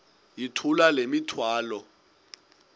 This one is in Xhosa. yithula le mithwalo